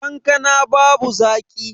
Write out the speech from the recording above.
Kankanan babu zaki.